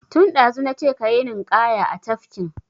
Tun ɗazu na ce ka yi ninƙaya a tafkin!